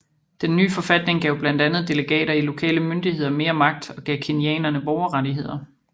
Den nye forfatning gav blandt andet delegater i lokale myndigheder mere magt og gav kenyanerne borgerrettigheder